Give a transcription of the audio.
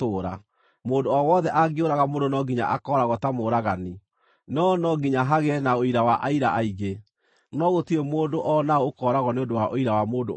“ ‘Mũndũ o wothe angĩũraga mũndũ no nginya akooragwo ta mũũragani, no no nginya hagĩe na ũira wa aira aingĩ. No gũtirĩ mũndũ o na ũ ũkooragwo nĩ ũndũ wa ũira wa mũndũ ũmwe.